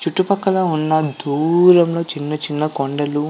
చుట్టుపక్కల ఉన్న దూరంగా చిన్న చిన్న కొండలు --